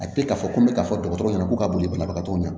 A tɛ k'a fɔ ko n bɛ ka fɔ dɔgɔtɔrɔ ɲɛna ko ka boli banabagatɔw ɲɛna